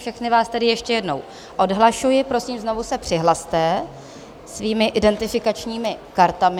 Všechny vás tedy ještě jednou odhlašuji, prosím, znovu se přihlaste svými identifikačními kartami.